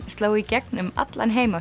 sló í gegn um allan heim